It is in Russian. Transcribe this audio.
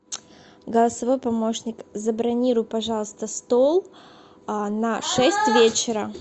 голосовой помощник забронируй пожалуйста стол на шесть вечера